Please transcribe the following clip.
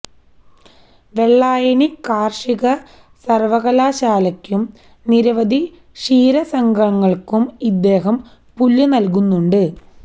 വെള്ളായണി കാര്ഷിക സര്വകലാശാലക്കും നിരവധി ക്ഷീരസംഘങ്ങള്ക്കും ഇദ്ദേഹം പുല്ല് നല്കുന്നുണ്ട്